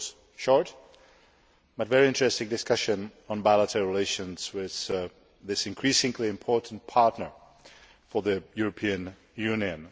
This was a short but very interesting discussion on bilateral relations with this increasingly important partner for the European Union.